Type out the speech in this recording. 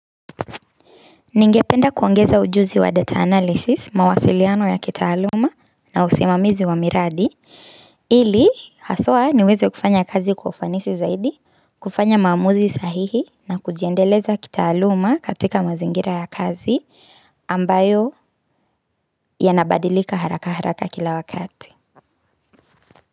Ningependa kuongeza ujuzi wa data analysis, mawasiliano ya kitaaluma na usimamizi wa miradi, ili haswa niweze kufanya kazi ufanisi zaidi, kufanya maamuzi sahihi na kujiendeleza kitaaluma katika mazingira ya kazi ambayo yanabadilika haraka haraka kila wakati.